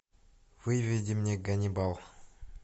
выведи мне ганнибал